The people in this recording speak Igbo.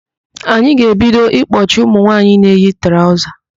Anyị ga-ebido ịkpọchi ụmụnwaanyị na-eyi traụza.